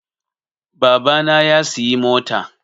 Baba na ya siyi mota